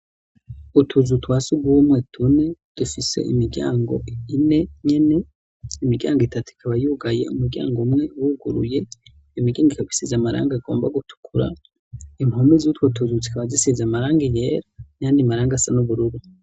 Utuzu twasugumwe tune dufise imiryango ine nyene, imiryango itatu ikaba yugaye, umuryango umwe wuguruye, iyo imiryango ikaba isize amarangi agomba gutukura impome zutwo tuzu tukaba dusize amarangi yera nayandi maranga asa n'ubururu.